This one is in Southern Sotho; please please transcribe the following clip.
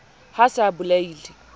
ha a se a bolaile